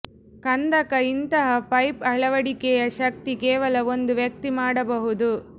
ಕಂದಕ ಇಂತಹ ಪೈಪ್ ಅಳವಡಿಕೆಯ ಶಕ್ತಿ ಕೇವಲ ಒಂದು ವ್ಯಕ್ತಿ ಮಾಡಬಹುದು